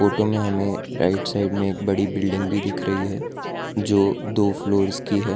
Photo में हमें right side में एक बड़ी बिल्डिंग भी दिख रही है जो दो फ्लोर्स की है।